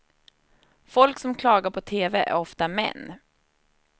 Folk som klagar på tv är ofta män.